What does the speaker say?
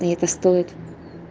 и это стоит